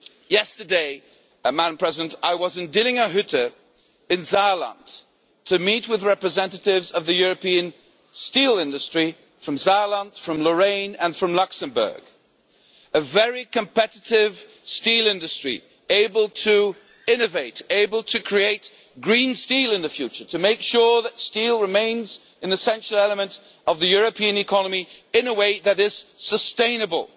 Yesterday, I was at Dillinger Hütte, in Saarland, to meet with representatives of the European steel industry from Saarland, from Lorraine and from Luxembourg a very competitive steel industry, able to innovate, able to create green steel in the future, to make sure that steel remains an essential element of the European economy, in a way that is sustainable.